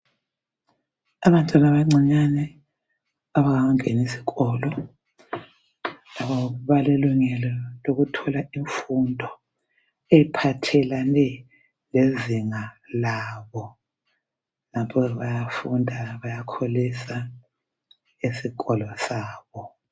Abantwana abancinyane abangakangeni isikolo balelungelo lokuthola imfundo ephathelane lezinga labo lapho bayafunda bakholisa esikolo sabo